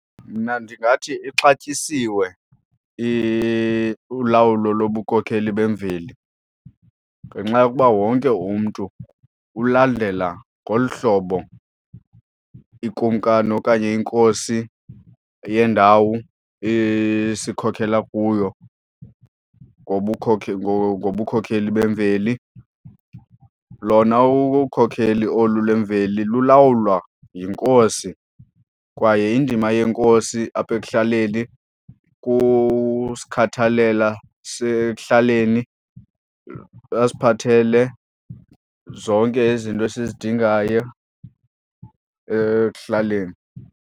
Mna ndingathi ixatyisiwe ulawulo lobukhokheli bemveli ngenxa yokuba wonke umntu ulandela ngolu hlobo ikumkani okanye inkosi eyendawo isikhokhela kuyo ngobukhokheli bemveli. Lona ukhokheli olu le mveli lulawulwa yinkosi kwaye indima yenkosi apha ekuhlaleni kusikhathalela kuhlaleni asiphathele zonke izinto esizidingayo ekuhlaleni.